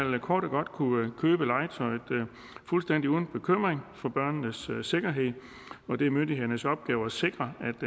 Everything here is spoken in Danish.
kort og godt kunne købe legetøj fuldstændig uden bekymring for børnenes sikkerhed og det er myndighedernes opgave at sikre